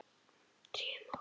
Drífum okkur.